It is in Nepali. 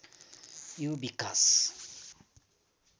यो विकास